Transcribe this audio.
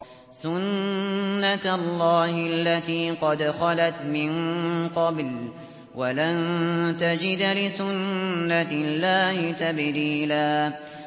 سُنَّةَ اللَّهِ الَّتِي قَدْ خَلَتْ مِن قَبْلُ ۖ وَلَن تَجِدَ لِسُنَّةِ اللَّهِ تَبْدِيلًا